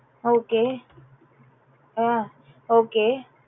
okay ah okay